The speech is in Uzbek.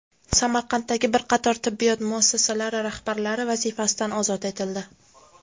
Samarqanddagi bir qator tibbiyot muassasalari rahbarlari vazifasidan ozod etildi.